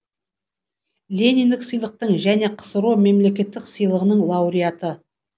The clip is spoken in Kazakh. лениндік сыйлықтың және ксро мемлекеттік сыйлығының лауреаты